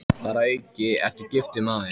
Þar að auki ertu giftur maður.